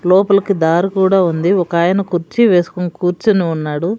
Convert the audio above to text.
లోపలకి దారి కూడా ఉంది. ఒక అయినా కుర్చీ వేసుకుని కూర్చొని ఉన్నాడు.